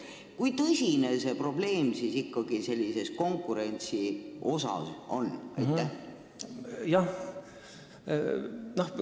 Kui tõsine see probleem ikkagi konkurentsi poolest on?